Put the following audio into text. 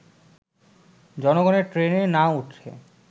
জনগণের ট্রেনে না উঠে